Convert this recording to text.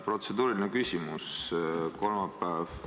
Protseduuriline küsimus on selline.